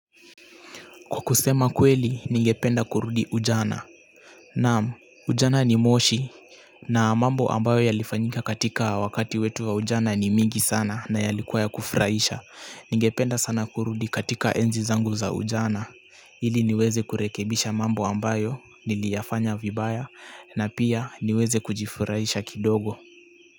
Kwa kusema kweli, ningependa kurudi ujana. Naam, ujana ni moshi. Na mambo ambayo yalifanyika katika wakati wetu wa ujana ni mingi sana na yalikuwa ya kufurahisha. Ningependa sana kurudi katika enzi zangu za ujana. Ili niweze kurekebisha mambo ambayo, niliyafanya vibaya, na pia niweze kujifurahisha kidogo.